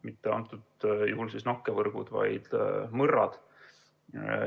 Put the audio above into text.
Ühel konkreetsel juhul mitte nakkevõrgud, vaid mõrrad.